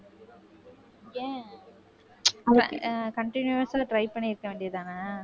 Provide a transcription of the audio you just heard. ஏன் அஹ் continuous ஆ try பண்ணி இருக்க வேண்டியதுதானே